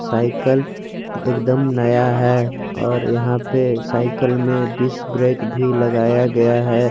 Cycle एक दम नया है और यहां पे साइकिल में डिस्क ब्रेक भी लगाया गया है।